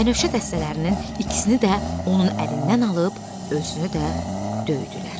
Bənövşə dəstələrinin ikisini də onun əlindən alıb özünü də döydülər.